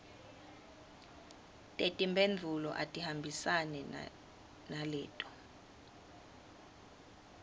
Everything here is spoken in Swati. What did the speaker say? tetimphendvulo atihambisane naleto